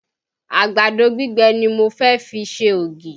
Àgbàdo gbígbẹ ni mo fẹ́ fi ń se ògì